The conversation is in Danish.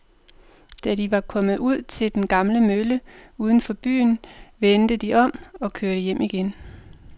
Da de var kommet ud til den gamle mølle uden for byen, vendte de om og kørte hjem igen.